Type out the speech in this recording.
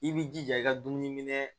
I b'i jija i ka dumuni minɛ